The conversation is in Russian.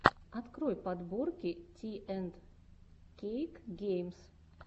открой подборки ти энд кейк геймс